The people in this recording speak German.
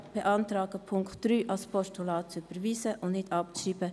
Wir beantragen, den Punkt 3 als Postulat zu überweisen und diesen nicht abzuschreiben.